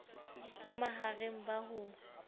bo ma hareng ba ho